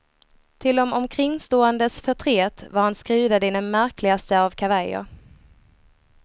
Till de omkringståendes förtret var han skrudad i den märkligaste av kavajer.